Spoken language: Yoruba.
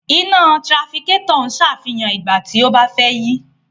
Iná tirafikétọ̀ ń sàfihàn nígbà tí a bá fẹ́ yí.